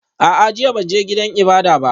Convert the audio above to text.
A'a, jiya ban je gidan ibada ba